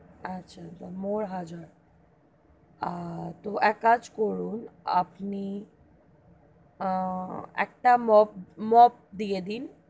আচ্ছা আছে more হাজার আহ তো এক কাজ করুন আপনি আহ একটা mop mop দিয়ে দিন,